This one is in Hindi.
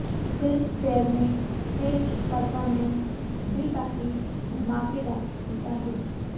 फिल्मफेयर में स्टेज परर्फोमेंस भी काफी धमाकेदार होता है